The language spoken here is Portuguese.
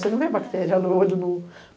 Você não vê bactéria no olho nu.